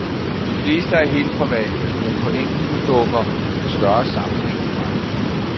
De fleste er helt private, men på enkelte dukker en større sammenhæng frem.